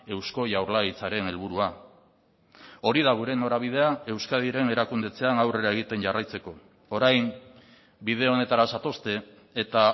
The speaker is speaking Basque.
eusko jaurlaritzaren helburua hori da gure norabidea euskadiren erakundetzean aurrera egiten jarraitzeko orain bide honetara zatozte eta